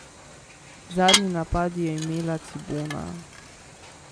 Zadnji napad je imela Cibona.